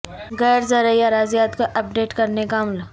غیر زرعی اراضیات کو اپ ڈیٹ کرنے کا عمل